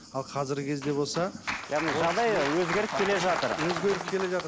ал қазіргі кезде болса яғни жағдай өзгеріп келе жатыр өзгеріп келе жатыр